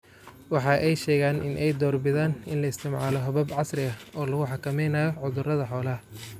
Waxa ay sheegeen in ay door bidaan in la isticmaalo habab casri ah oo lagu xakameynayo cudurrada xoolaha.